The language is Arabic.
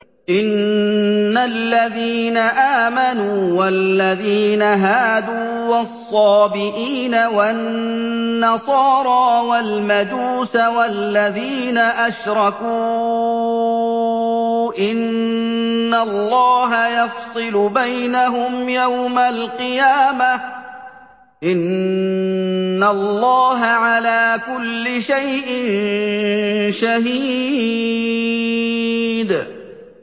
إِنَّ الَّذِينَ آمَنُوا وَالَّذِينَ هَادُوا وَالصَّابِئِينَ وَالنَّصَارَىٰ وَالْمَجُوسَ وَالَّذِينَ أَشْرَكُوا إِنَّ اللَّهَ يَفْصِلُ بَيْنَهُمْ يَوْمَ الْقِيَامَةِ ۚ إِنَّ اللَّهَ عَلَىٰ كُلِّ شَيْءٍ شَهِيدٌ